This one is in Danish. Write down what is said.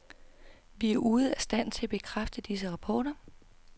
Vi er ude af stand til at bekræfte disse rapporter.